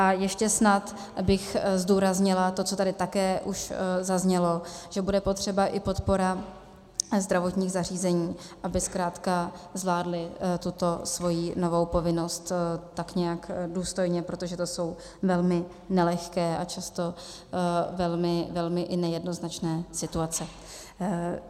A ještě snad bych zdůraznila to, co tady také už zaznělo, že bude potřeba i podpora zdravotních zařízení, aby zkrátka zvládla tuto svoji novou povinnost tak nějak důstojně, protože to jsou velmi nelehké a často i velmi nejednoznačné situace.